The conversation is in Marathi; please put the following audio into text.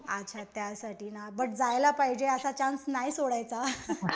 अच्छा त्यासाठी बट जायला पाहिजे असा चान्स नाही सोडायचा.